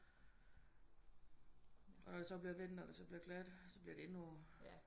Og når det så bliver vinter og det så bliver gladt så bliver det endnu